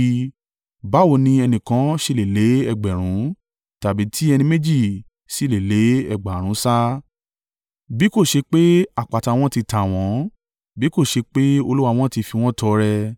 Báwo ni ẹnìkan ṣe lè lé ẹgbẹ̀rún (1,000), tàbí tí ẹni méjì sì lè lé ẹgbẹ̀rún mẹ́wàá (10,000) sá, bí kò ṣe pé àpáta wọn ti tà wọ́n, bí kò ṣe pé Olúwa wọn ti fi wọ́n tọrẹ?